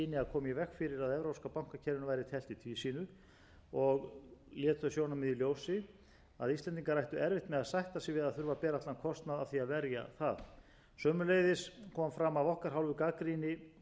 og lét þau sjónarmið í ljós að íslendingar ættu erfitt með að sætta sig við að þurfa að bera allan kostnað af því að verja það sömuleiðis kom fram af okkar hálfu gagnrýni á hendur